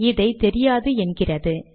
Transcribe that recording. இதை தெரியாது என்கிறது